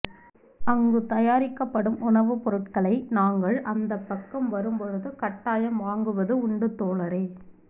அங்கு தயாரிக்கப் படும் உணவுப்பொருட்களை நாங்கள் அந்த பக்கம் வரும் பொழுது கட்டாயம் வாங்குவது உண்டு தோழரே